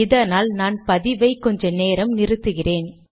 இதனால் நான் பதிவை கொஞ்ச நேரம் நிறுத்துகிறேன்